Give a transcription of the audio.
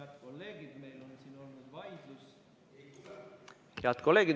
Head kolleegid!